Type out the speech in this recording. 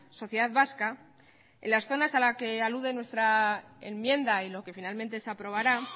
sociedad vasca en las zonas a las que alude nuestra enmienda y lo que finalmente se aprobará